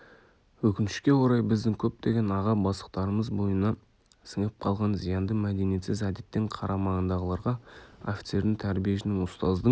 өкінішке орай біздің көптеген аға бастықтарымыз бойына сіңіп қалған зиянды мәдениетсіз әдеттен қарамағындағыларға офицердің тәрбиешінің ұстаздың